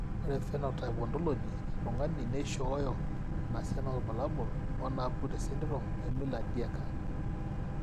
Ore phenotype ontology etung'ani neishooyo enasiana oorbulabul onaapuku tesindirom eMiller Dieker.